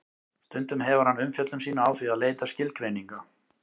Stundum hefur hann umfjöllun sína á því að leita skilgreininga.